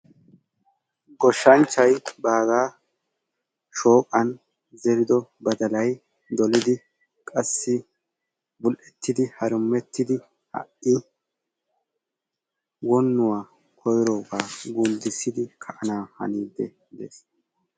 Goshshanchchay baaga shooqan zerido badalay dolidi qassi buli"eettidi harumuttidi ha'i wobnuwa koyrooga gunddissidi ha'i ka'ananiidde de"ees.